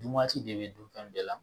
Dun waati de bɛ dun fɛn bɛɛ la